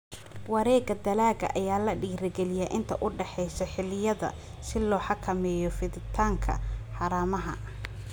Wareegga dalagga ayaa la dhiirigeliyaa inta u dhaxaysa xilliyada si loo xakameeyo fiditaanka haramaha.